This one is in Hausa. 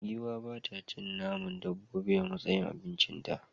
Giwa ba ta cin naman dabbobi a matsayin abincita.